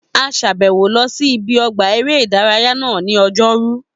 A sàbẹ̀wò lọ sí ibi ọgbà eré ìdárayá náà ní ọjọ́rú